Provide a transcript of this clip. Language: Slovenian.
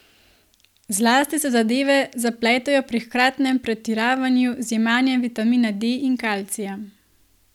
Zlasti se zadeve zapletejo pri hkratnem pretiravanju z jemanjem vitamina D in kalcija.